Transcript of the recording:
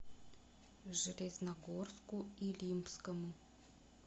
железногорску илимскому